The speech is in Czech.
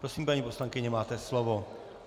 Prosím, paní poslankyně, máte slovo.